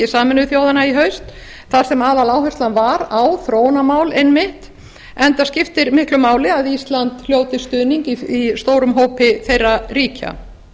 sameinuðu þjóðanna í haust þar sem aðaláherslan var á þróunarmál einmitt enda skiptir miklu máli að ísland hljóti stuðning í stórum hópi þeirra ríkja